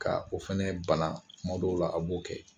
Ka o fɛnɛ bana tuma dɔw la a b'o kɛ.